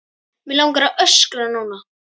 Mig langar að öskra núna.